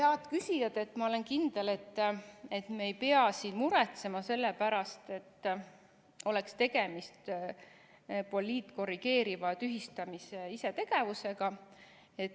" Head küsijad, ma olen kindel, et me ei pea siin muretsema selle pärast, et oleks tegemist poliitkorrigeeriva tühistamise ja isetegevusega.